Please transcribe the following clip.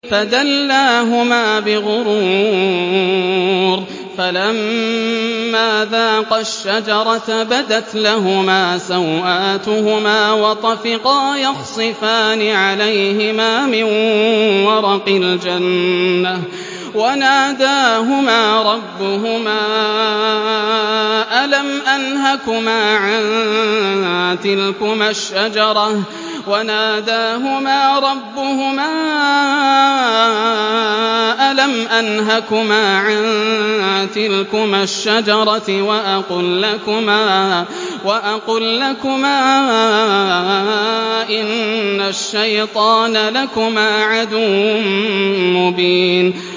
فَدَلَّاهُمَا بِغُرُورٍ ۚ فَلَمَّا ذَاقَا الشَّجَرَةَ بَدَتْ لَهُمَا سَوْآتُهُمَا وَطَفِقَا يَخْصِفَانِ عَلَيْهِمَا مِن وَرَقِ الْجَنَّةِ ۖ وَنَادَاهُمَا رَبُّهُمَا أَلَمْ أَنْهَكُمَا عَن تِلْكُمَا الشَّجَرَةِ وَأَقُل لَّكُمَا إِنَّ الشَّيْطَانَ لَكُمَا عَدُوٌّ مُّبِينٌ